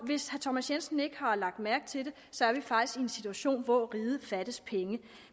hvis herre thomas jensen ikke har lagt mærke til det så er vi faktisk i en situation hvor riget fattes penge